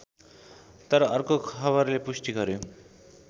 तर अर्को खबरले पुष्टि गर्‍यो